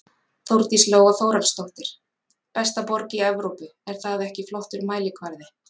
Þórdís Lóa Þórhallsdóttir: Besta borg í Evrópu er það ekki flottur mælikvarði?